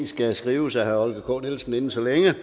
skal skrives af herre holger k nielsen inden så længe